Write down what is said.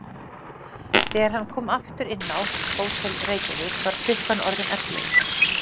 Þegar hann kom aftur inn á Hótel Reykjavík var klukkan orðin yfir ellefu.